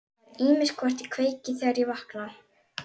Það er ýmist hvort ég kveiki, þegar ég vakna.